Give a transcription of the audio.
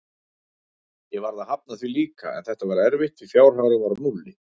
Ég varð að hafna því líka, en þetta var erfitt því fjárhagurinn var á núlli.